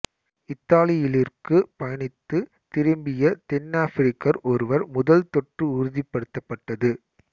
இத்தாலியிலியிற்கு பயணித்து திரும்பிய தென்னாப்பிரிக்கர் ஒருவர் முதல் தொற்று உறுதிப்படுத்தப்பட்டது